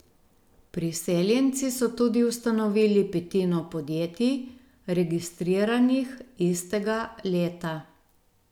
Priseljenci so tudi ustanovili petino podjetij, registriranih istega leta.